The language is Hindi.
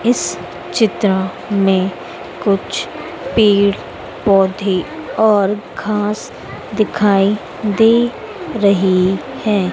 इस चित्र में कुछ पेड़ पौधे और घास दिखाई दे रही है।